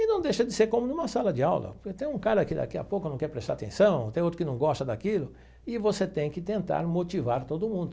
E não deixa de ser como numa sala de aula, porque tem um cara que daqui a pouco não quer prestar atenção, tem outro que não gosta daquilo, e você tem que tentar motivar todo mundo.